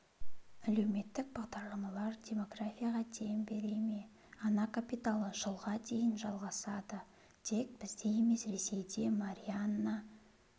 әлеуметтік бағдарламалар демографияға дем бере ме ана капиталы жылға дейін жалғасады тек бізде емес ресейде марианна